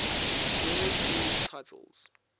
world series titles